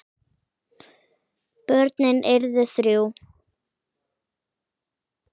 Börnin urðu þrjú.